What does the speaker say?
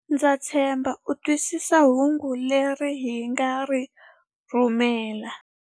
Ndza tshemba u twisisa hungu leri hi nga ri rhumela.